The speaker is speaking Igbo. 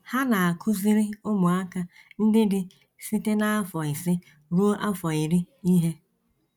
Ha na - akụziri ụmụaka ndị dị site n’afọ ise ruo afọ iri ihe.